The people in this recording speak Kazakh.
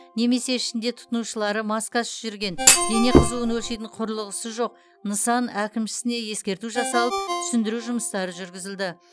немесе ішінде тұтынушылары маскасыз жүрген дене қызуын өлшейтін құрылғысы жоқ нысан әкімшісіне ескерту жасалып түсіндіру жұмыстары жүргізілді